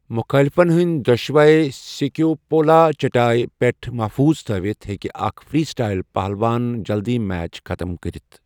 مُخٲلِفن ہٕنٛدۍ دۄشوٕے سکیپولا چٹایہ پٮ۪ٹھ محفوٗظ تھٲوِتھ ہیٚکہِ اکھ فری سٹایل پہلوان جلدی میچ ختٕم کٔرتھ ۔